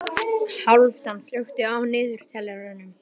Hálfdán, slökktu á niðurteljaranum.